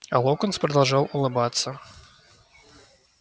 а локонс продолжал улыбаться